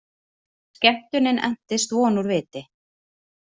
Skemmtunin entist von úr viti!